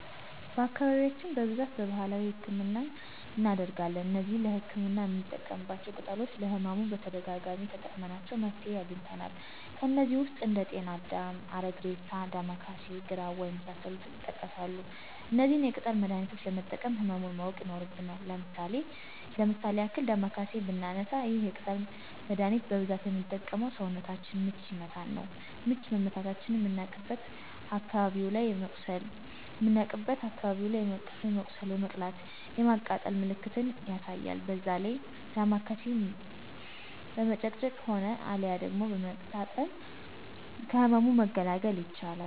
በአካባቢያችን በብዛት በባህላዊ ህክምናን እናደርጋለን። እነዚህ ለህክምና የምንጠቀማቸው ቅጠሎች ለህመሙ በተደጋጋሚ ተጠቅመናቸው መፍትሄ አግኝተናል። ከነዚህም ውስጥ እንደ ጤና አዳም፣ አረግሬሳ፣ ዳማከሴ፣ ግራዋ የመሳሰሉት ይጠቀሳሉ። እነዚህን የቅጠል መድሀኒቾች ለመጠቀም ህመሙን ማወቅ ይኖርብናል። ለምሳሌ ያክል ዳማከሴን ብናነሳ ይህን የቅጠል መደሀኒት በብዛት ምንጠቀመው ሰውነታችንን ምች ሲመታን ነው። ምች መመታታችንን ምናቅበት አካባቢው ላይ የመቁሰል የመቅላት የማቃጠል ምልክትን ያሳያል በዛ ጊዜ ዳማከሴውን በመጭመቅ ሆነ አልያ ደግሞ በመታጠን ከህመሙ መገላገል ይቻላል።